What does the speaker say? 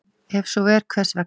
Ef svo er, hvers vegna?